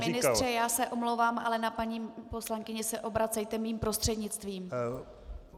Pane ministře, já se omlouvám, ale na paní poslankyni se obracejte mým prostřednictvím.